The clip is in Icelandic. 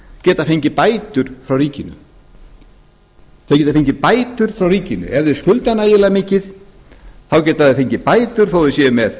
geta fengið bætur frá ríkinu þau geta fengið bætur frá ríkinu ef þau skulda nægilega mikið geta þau fengið bætur þó að þau séu með